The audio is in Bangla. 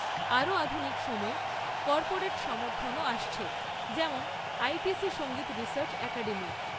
আরও আধুনিক সময়ে, কর্পোরেট সমর্থনও আসছে, যেমন আইটিসি সঙ্গীত রিসার্চ অ্যাকাডেমি।